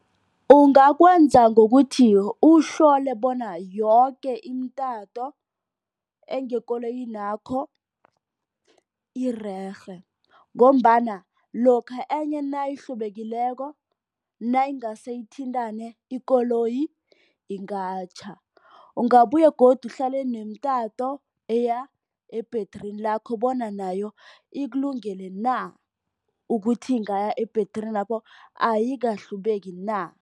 Ungakwenza ngokuthi uhlole bona yoke imitanto engekoloyinakho irerhe. Ngombana lokha enye nayihlubekileko nayingase ithintane ikoloyi ingatjha. Ungabuye godu uhlole nemitanto eya ebhetrini lakho bona nayo ikulungele na ukuthi ingaya ebhetrinapho ayikahlubeki na.